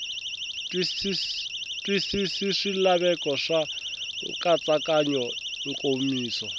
twisisi swilaveko swa nkatsakanyo nkomiso